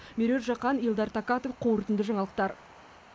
меруерт жақан елдар такатов қорытынды жаңалықтар